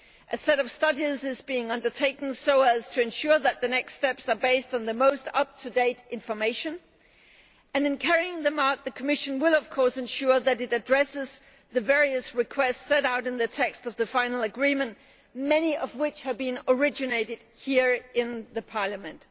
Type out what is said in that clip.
A set of studies is being undertaken so as to ensure that the next steps are based on the most up to date information, and in carrying them out the Commission will of course ensure that it addresses the various requests set out in the text of the final agreement, many of which have been originated here in Parliament.